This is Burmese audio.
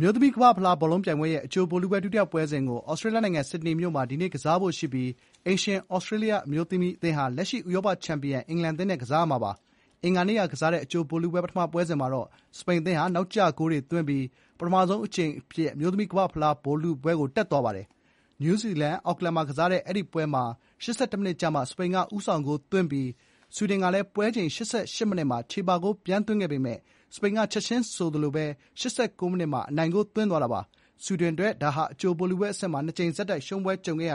မျိုးသမီးကမ္ဘာ့ဖလား ဘောလုံးပြိုင်ပွဲရဲ့ အကြိုဗိုလ်လုပွဲ ဒုတိယပွဲစဥ်ကို သြစတြေးလျနိုင်ငံ ဆစ်ဒနီမြို့မှာ ဒီနေ့ကစားဖို့ရှိပြီး အိမ်ရှင်သြစတြေးလျ အမျိုးသမီးအသင်းဟာ လက်ရှိ ဥရောပချန်ပီယံ အင်္ဂလန်အသင်းနဲ့ကစားမှာပါ။ အင်္ဂါနေ့ကကစားတဲ့ အကြိုဗိုလ်လုပွဲ ပထမပွဲစဥ်မှာတော့ စပိန်အသင်းဟာ နောက်ကျဂိုးတွေသွင်းပြီး ပထမဆုံးအကြိမ်အဖြစ် အမျိုးသမီးကမ္ဘာ့ဖလားဗိုလ်လုပွဲကို တက်သွားပါတယ်။ နယူးဇီလန်၊ အော့ကလန်မှာ ကစားတဲ့အဲဒီပွဲမှာ ၈၁ မိနစ်ကျမှ စပိန်က ဦးဆောင် ဂိုးသွင်းပြီးနောက် ဆွီဒင်ကလည်း ပွဲချိန် ၈၈ မိနစ်မှာ ချေပဂိုး ပြန်သွင်းခဲ့ပေမယ့် စပိန်က ချက်ချင်းဆိုသလို တမိနစ်ပဲခြား ၈၉ မိနစ်မှာ အနိုင်ဂိုးယူသွားခဲ့ပါတယ်။ ဆွီဒင်အတွက်တော့ ဒါဟာ အကြိုဗိုလ်လုပွဲ အဆင့်မှာ နှစ်ကြိမ်ဆက်တိုက် ရှုံးပွဲကြုံခဲ့ရ